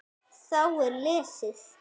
Þá er lesið